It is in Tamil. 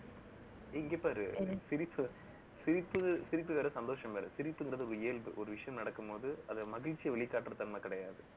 இங்க பாரு. சிரி~சிரிப்பு சிரிக்கிற சந்தோஷம் வேற. சிரிப்புன்றது ஒரு இயல்பு. ஒரு விஷயம் நடக்கும் போது, அது மகிழ்ச்சியை வெளிக்காட்டுற தன்மை கிடையாது